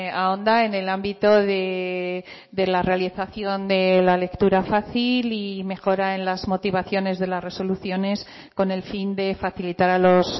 ahonda en el ámbito de la realización de la lectura fácil y mejora en las motivaciones de las resoluciones con el fin de facilitar a los